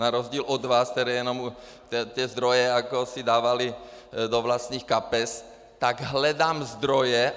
Na rozdíl od vás, kteří jenom ty zdroje si dávali do vlastních kapes, tak hledám zdroje.